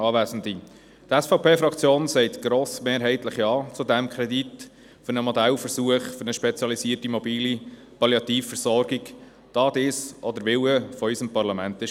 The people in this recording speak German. Die SVP-Fraktion sagt grossmehrheitlich Ja zu dem Kredit für einen Modellversuch für eine spezialisierte mobile Palliativversorgung, weil es der Wille unseres Parlaments war.